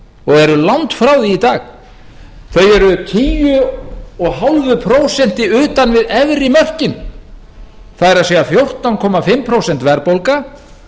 og eru langt frá því í dag þau eru tíu komma fimm prósent utan við efri mörkin það er fjórtán komma fimm prósent verðbólga